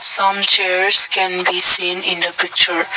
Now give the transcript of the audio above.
some chairs can be seen in the picture.